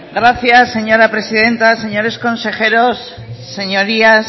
gracias señora presidenta señores consejeros señorías